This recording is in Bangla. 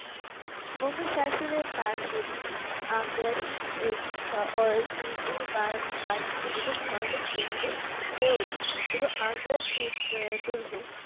মুঘল শাসনের তার অধীনে আগ্রা শিক্ষা ও শিল্প বা বাণিজ্য এবং ধার্মিক কেন্দ্র হয়ে ওঠে এবং আগ্রার দুর দুর্গ